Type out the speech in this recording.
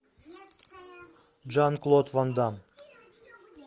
жан клод ван дамм